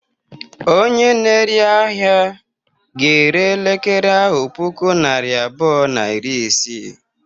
Onye na-ere ahịa ga-ere elekere ahu puku naịra abụọ na iri isii.